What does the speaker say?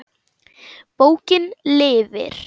Bókin lifir.